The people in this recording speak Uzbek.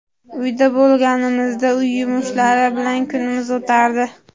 Uyda bo‘lganimizda uy yumushlari bilan kunimiz o‘tardi.